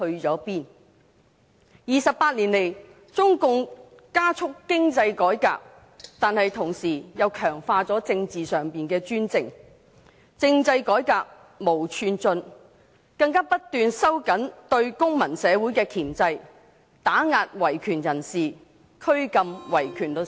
這28年來，中共加速經濟改革，但同時強化政治上的專政，政制改革毫無寸進，更不斷收緊對公民社會的箝制、打壓維權人士和拘禁維權律師。